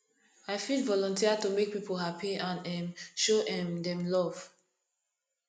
i fit volunteer to make people happy and um show um dem love